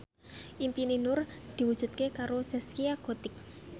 impine Nur diwujudke karo Zaskia Gotik